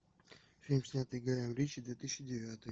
фильм снятый гаем ричи две тысячи девятый